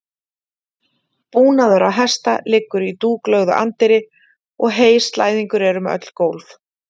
Búnaður á hesta liggur í dúklögðu anddyri og heyslæðingur er um öll gólf.